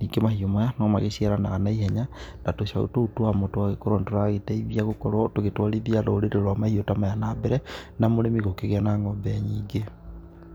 Ningĩ mahiũ maya no magĩciaranaga na ihenya, na tũcaũ tũu twamo tũgagĩkorwo nĩ tũragĩteithia gũkorwo tũgĩtwarithia rũrĩrĩ rwa mahiũ ta maya na mbere, na mũrĩmi gũkĩgĩa na ng'ombe nyingĩ.